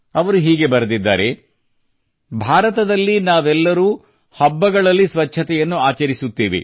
ಅವರು ಹೀಗೆ ಬರೆದಿದ್ದಾರೆ ಭಾರತದಲ್ಲಿ ನಾವೆಲ್ಲರೂ ಹಬ್ಬಗಳಲ್ಲಿ ಸ್ವಚ್ಛತೆಯನ್ನು ಆಚರಿಸುತ್ತೇವೆ